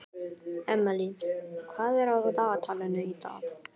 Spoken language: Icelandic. Emely, hvað er á dagatalinu í dag?